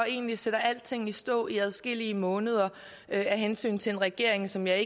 og egentlig sætter alting i stå i adskillige måneder af hensyn til en regering som jeg